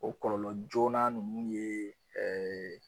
O kɔlɔlɔ joona ninnu ye